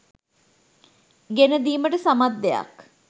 ගෙනදීමට සමත් දෙයක්.